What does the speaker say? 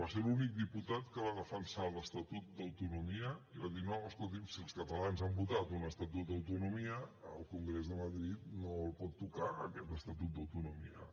va ser l’únic diputat que va defensar l’estatut d’autonomia i va dir no escolti’m si els catalans han votat un estatut d’autonomia el congrés de madrid no el pot tocar aquest estatut d’autonomia